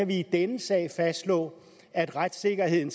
vi i denne sag fastslå at retssikkerheden